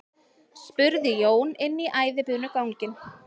spurði Jón inn í æðibunuganginn.